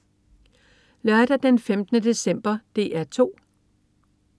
Lørdag den 15. december - DR 2: